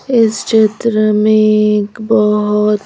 इस चित्र में एक बहुत--